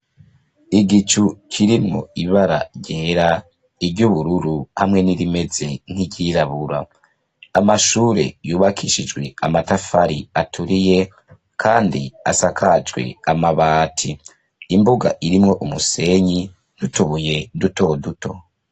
Igicu kirimwo ibara ryera, iry'ubururu, hamwe n'irimeze nk'iryirabura, amashure yubakishijwe amatafari aturiye, kandi asakajwe amabati, imbuga irimwo umusenyi n'utubuye duto duto.